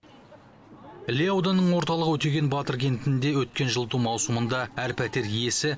іле ауданының орталығы өтеген батыр кентінде өткен жылыту маусымында әр пәтер иесі